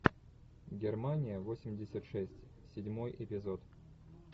германия восемьдесят шесть седьмой эпизод